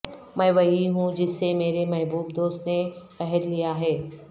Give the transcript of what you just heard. میں وہی ہوں جس سے میرے محبوب دوست نے عہد لیا ہے